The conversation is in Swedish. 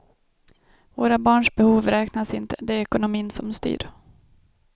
Våra barns behov räknas inte, det är ekonomin som styr.